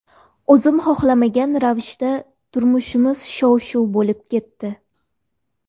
O‘zim xohlamagan ravishda turmushimiz shov-shuv bo‘lib ketdi.